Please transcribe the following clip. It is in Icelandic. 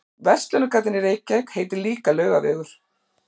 Verslunargatan í Reykjavík heitir líka Laugavegur.